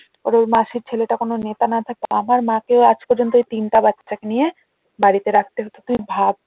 আর ওই মাসির ছেলেটা ওখানে নেতা না থাকতো আমার মা কে আজ পর্যন্ত তিনটা বাচ্চাকে নিয়ে বাড়িতে রাখতে হতো তুই ভাব